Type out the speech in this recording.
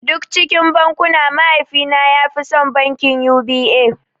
Duk cikin bankuna mahaifi na ya fi son bankin U.B.A